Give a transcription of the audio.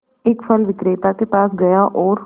एक फल विक्रेता के पास गया और